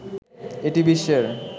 এটি বিশ্বের